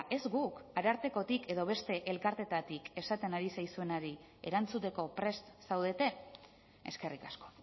ez guk arartekotik edo beste elkarteetatik esaten ari zaizuenari erantzuteko prest zaudete eskerrik asko